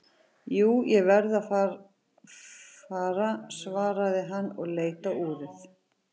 Jú, ég verð að fara svaraði hann og leit á úrið.